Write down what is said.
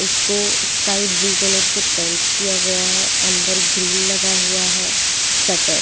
इसको sky blue colour से paint किया गया है अंदर ग्रिल लगा हुआ है शटर --